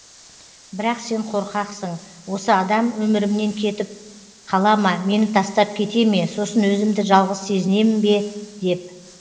бірақ сен қорқасың осы адам өмірімнен кетіп қала ма мені тастап кете ме сосын өзімді жалғыз сезінемін бе деп